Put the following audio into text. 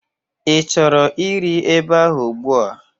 I chọrọ iri eba ahụ ugbua?